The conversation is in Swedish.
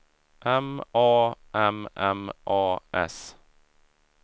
M A M M A S